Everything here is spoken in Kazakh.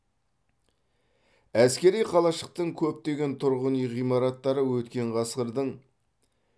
әскери қалашықтың көптеген тұрғын үй ғимараттары өткен ғасырдың